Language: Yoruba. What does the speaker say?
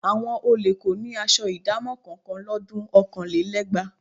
Àwọn olè kò ní aṣọ ìdámọ̀ kankan lọ́dun ọ̀kanlélẹ́gbàá